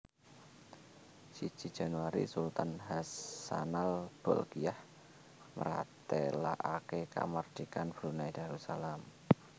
Siji Januari Sultan Hassanal Bolkiah mratélakaké kamardikan Brunei Darussalam